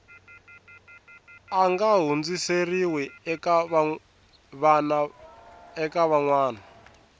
nga hundziseriwi eka van wana